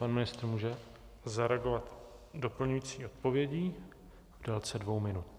Pan ministr může zareagovat doplňující odpovědí v délce dvou minut.